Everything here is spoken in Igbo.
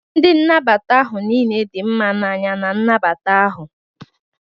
Ndị nnabata ahụ niile di mma na anya na nnabata ahụ.